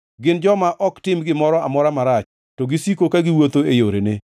Gin joma ok tim gimoro amora marach, to gisiko ka giwuotho e yorene.